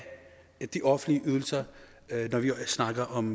de offentlige ydelser når vi snakker om